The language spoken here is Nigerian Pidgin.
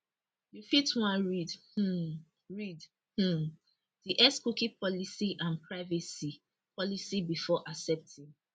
you fit wan read um read um di x cookie policy and privacy policy before accepting